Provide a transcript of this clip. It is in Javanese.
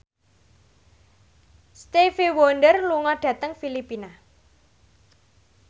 Stevie Wonder lunga dhateng Filipina